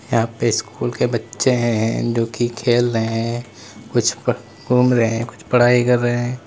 यहां पे स्कूल के बच्चे हैं जो कि खेल रहे हैं कुछ घूम रहे हैं कुछ पढ़ाई कर रहे हैं।